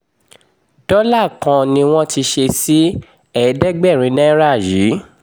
dọ́là kan ni wọ́n ti ń ṣe sí ẹ̀ẹ́dẹ́gbẹ̀rin náírà yìí